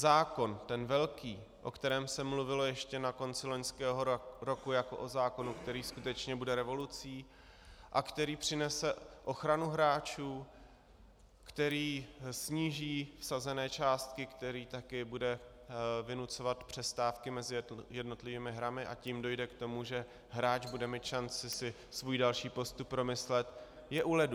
Zákon, ten velký, o kterém se mluvilo ještě na konci loňského roku jako o zákonu, který skutečně bude revolucí a který přinese ochranu hráčů, který sníží vsazené částky, který také bude vynucovat přestávky mezi jednotlivými hrami, a tím dojde k tomu, že hráč bude mít šanci si svůj další postup promyslet, je u ledu.